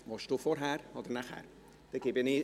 – Der Motionär will nachher sprechen.